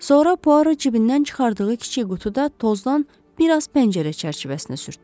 Sonra Puaro cibindən çıxardığı kiçik qutu da tozdan bir az pəncərə çərçivəsinə sürtdü.